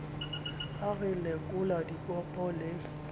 ha re lekola dikopo le